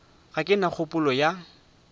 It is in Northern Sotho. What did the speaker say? ga ke na kgopolo ya